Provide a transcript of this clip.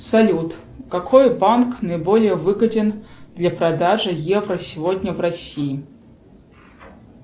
салют какой банк наиболее выгоден для продажи евро сегодня в россии